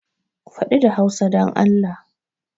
Faɗi da Hausa don Allah!